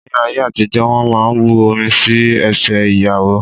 Ní ayé àtijó, wón máa ń bu omi sí ẹsẹ ìyàwó.